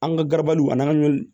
An ka garabaliw a n'an ka ɲɔ